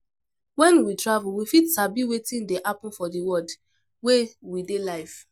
When we travel we fit sabi wetin dey happen for di world wey we dey live